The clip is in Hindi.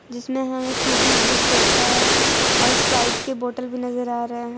जिसमें हमें फ्रूटी भी दिख सकता है और स्प्राइट के बोतल भी नजर आ रहे हैं।